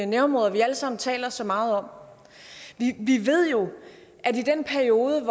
nærområder vi alle sammen taler så meget om vi ved jo at i den periode